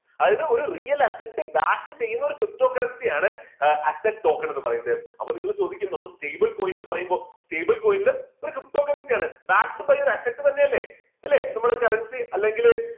അതായത് ഒരു real asset back ചെയ്യുന്ന ഒരു ptocurrency ആണ് asset token എന്ന് പറയുന്നത്. അപ്പോൾ നിങ്ങൾ ചോദിക്കും നമ്മള് stable coin പറയുമ്പോൾ stable coin ഒരു ptocurrency ആണ്. തന്നെയല്ലേ അല്ലേ നമ്മുടെ currency അല്ലെങ്കിൽ